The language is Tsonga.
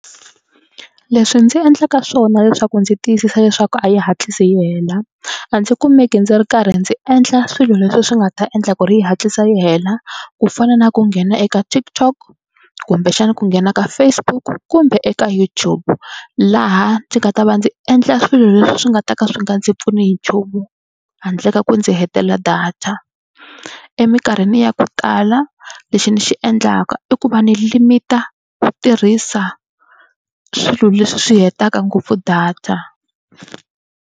Leswi ndzi endlaka swona leswaku ndzi tiyisisa leswaku a yi hatlisi yi hela a ndzi kumeke ndzi ri karhi ndzi endla swilo leswi swi nga ta endla ku ri yi hatlisa yi hela ku fana na ku nghena eka TikTok kumbexana ku nghena ka Facebook kumbe eka YouTube. Laha ndzi nga ta va ndzi endla swilo leswi swi nga ta ka swi nga ndzi pfuni hi nchumu handle ka ku ndzi hetelela data. Emikarhini ya ku tala lexi ni xi endlaka i ku va ni limit-a ku tirhisa swilo leswi swi hetaka ngopfu data.